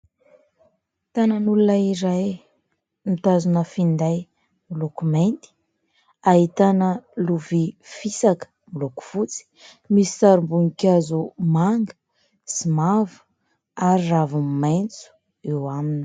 Tanan'olona izay mitazona finday miloko mainty, ahitana lovia fisaka miloko fotsy misy sarim-boninkazo manga sy mavo ary raviny maitso eo aminy.